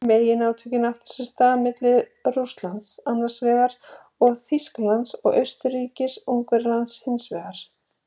Meginátökin áttu sér stað milli Rússlands annars vegar og Þýskalands og Austurríkis-Ungverjalands hins vegar.